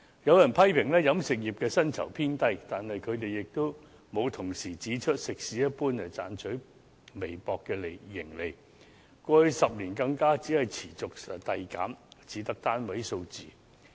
有人批評飲食業的薪酬偏低，但他們沒有同時指出，食肆一般只賺取微薄利潤，過去10年更持續遞減，只得單位數字。